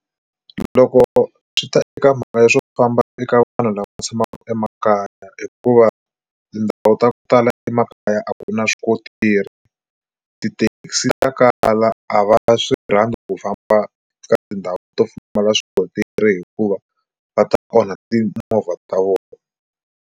Loko swi ta eka mhaka ya swo famba eka vanhu lava tshamaka emakaya hikuva tindhawu ta ku tala emakaya a ku na swikontiri tithekisi ta kala a va swi rhandza ku famba ka tindhawu to pfumala swikontiri hikuva va ta onha timovha ta vona.